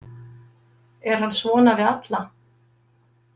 Er hann svona við alla?